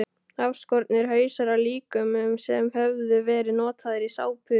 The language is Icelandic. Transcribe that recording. Afskornir hausar af líkömum sem höfðu verið notaðir í sápur.